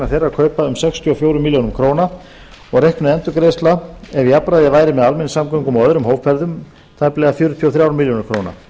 þeirra kaupa um sextíu og fjórar milljónir króna og reiknuð endurgreiðsla ef jafnræði væri með almenningssamgöngum og öðrum hópferðum tæplega fjörutíu og þrjár milljónir króna